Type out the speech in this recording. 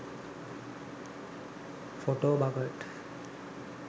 photobucket